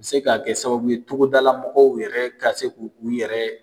A bɛ se ka kɛ sababu ye togodala mɔgɔw yɛrɛ ka se k'u yɛrɛ